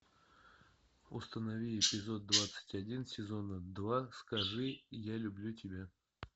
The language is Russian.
установи эпизод двадцать один сезона два скажи я люблю тебя